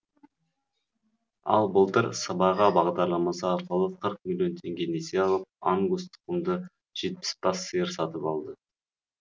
ал былтыр сыбаға бағдарламасы арқылы қырық миллион теңге несие алып ангус тұқымды жетпіс бас сиыр сатып алды